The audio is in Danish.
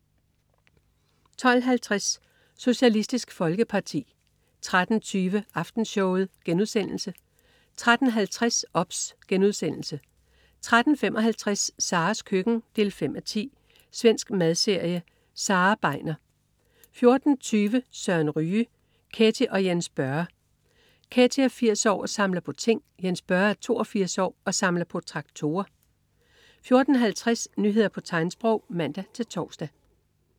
12.50 Socialistisk Folkeparti 13.20 Aftenshowet* 13.50 OBS* 13.55 Saras køkken 5:10. Svensk madserie. Sara Begner 14.20 Søren Ryge. Ketty og Jens Børre. Ketty er 80 år og samler på ting. Jens Børre er 82 år og samler på traktorer 14.50 Nyheder på tegnsprog (man-tors)